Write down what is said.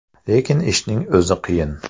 Lekin ishning o‘zi qiyin.